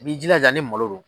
I bi jilaja ni malo don.